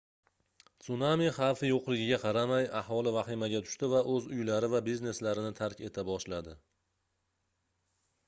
sunami xavfi yoʻqligiga qaramay aholi vahimaga tushdi va oʻz uylari va bizneslarini tark eta boshladi